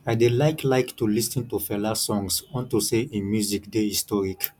i dey like like to lis ten to fela songs unto say im music dey historic